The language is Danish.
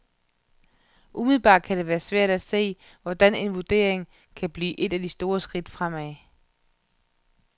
Umiddelbart kan det være svært at se, hvordan en vurdering kan blive et af de store skridt fremad.